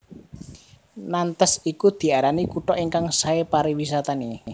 Nantes iku diarani kutha ingkang sae pariwisatane